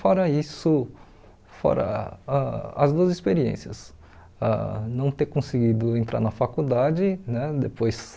Fora isso, fora ah as duas experiências, ãh não ter conseguido entrar na faculdade, né depois...